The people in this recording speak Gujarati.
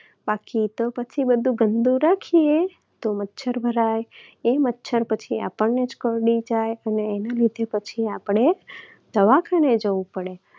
બાકી તો પછી જો બધું ગંદુ રાખીએ તો મચ્છર ભરાય, એ મચ્છર પછી આપણને જ કરડી જાય અને એના લીધે આપણે દવાખાને જવું પડે